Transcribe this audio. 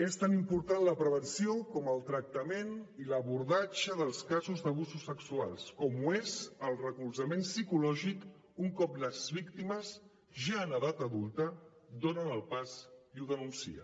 és tan important la prevenció com el tractament i l’abordatge dels casos d’abusos sexuals com ho és el recolzament psicològic un cop les víctimes ja en edat adulta donen el pas i ho denuncien